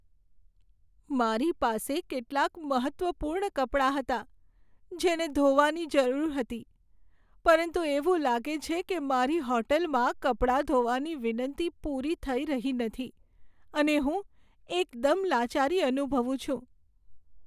મારી પાસે કેટલાંક મહત્ત્વપૂર્ણ કપડાં હતાં જેને ધોવાની જરૂર હતી, પરંતુ એવું લાગે છે કે મારી હોટલમાં કપડાં ધોવાની વિનંતી પૂરી થઈ રહી નથી, અને હું એકદમ લાચારી અનુભવું છું.